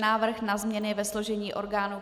Návrh na změny ve složení orgánů